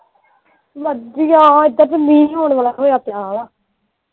ਵਧੀਆ ਏਧਰ ਤੇ ਮੀਂਹ ਆਉਣ ਵਾਲਾ ਹੋਇਆ ਪਿਆ ਵਾ।